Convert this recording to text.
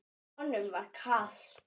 Honum var kalt.